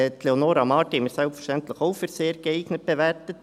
Leonora Marti haben wir selbstverständlich auch als sehr geeignet bewertet.